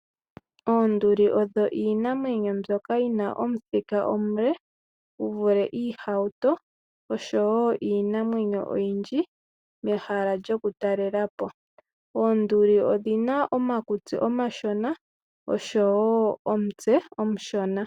Oonduli odho iinamwenyo mbyoka yina omuthika omule gu vule iihauto oshowoiinamwenyo oyindji mehala lyoku talelapo . Oonduli odhina omakutsi omashona oshowo omutse omushona.